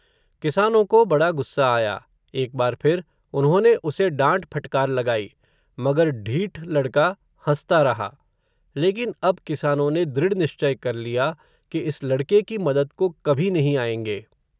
किसानों को बड़ा गुस्सा आया. एक बार फिर, उन्होंने उसे डांट-फटकार लगाई. मगर ढीठ लड़का हंसता रहा. लेकिन अब किसानों ने दृढ़ निश्चय कर लिया, कि इस लड़के की मदद को कभी नहीं आएंगे.